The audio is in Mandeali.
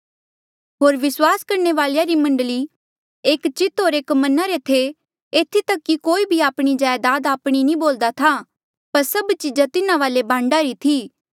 होर विस्वास करणे वालेया री मण्डली एक चित होर एक मना रे थे एथी तक कि कोई भी आपणी जायदाद आपणी नी बोल्दा था पर सभ चीजा तिन्हा वाले बांडा री थी